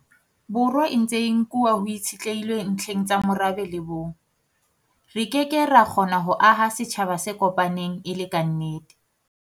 Borwa e ntse e nkuwa ho itshitlehilwe ntlheng tsa morabe le bong, re ke ke ra kgona ho aha setjhaba se kopaneng e le kannete.